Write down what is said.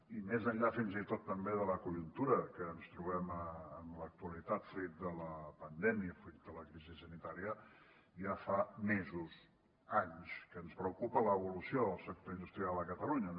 i més enllà fins i tot també de la conjuntura que ens trobem en l’actualitat fruit de la pandèmia fruit de la crisi sanitària ja fa mesos anys que ens preocupa l’evolució del sector industrial a catalunya